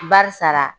Barisa